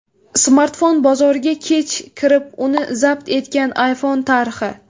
Smartfon bozoriga kech kirib, uni zabt etgan iPhone tarixi.